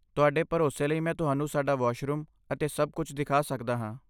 ਤੁਹਾਡੇ ਭਰੋਸੇ ਲਈ ਮੈਂ ਤੁਹਾਨੂੰ ਸਾਡਾ ਵਾਸ਼ਰੂਮ ਅਤੇ ਸਭ ਕੁਝ ਦਿਖਾ ਸਕਦਾ ਹਾਂ।